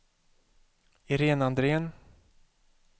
Irene Andrén